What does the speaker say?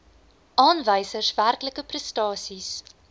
aanwysers werklike prestasies